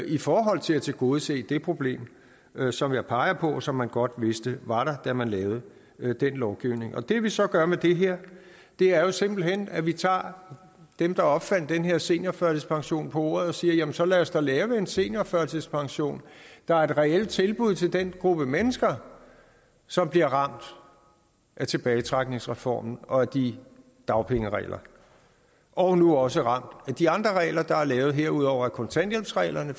i forhold til at tilgodese det problem som jeg peger på og som man godt vidste var der da man lavede den lovgivning det vi så gør med det her er jo simpelt hen at vi tager dem der opfandt den her seniorførtidspension på ordet og siger jamen så lad os da lave en seniorførtidspension der er et reelt tilbud til den gruppe mennesker som bliver ramt af tilbagetrækningsreformen og de dagpengeregler og nu også ramt af de andre regler der er lavet herudover er kontanthjælpsreglerne